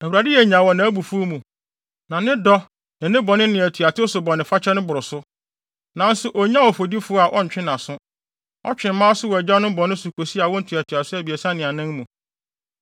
‘ Awurade yɛ nyaa wɔ nʼabufuw mu, na ne dɔ ne bɔne ne atuatew so bɔnefakyɛ no boro so. Nanso onnyaw ɔfɔdifo a ɔntwe nʼaso; ɔtwe mma aso wɔ agyanom bɔne ho kosi awo ntoatoaso abiɛsa ne nan mu.’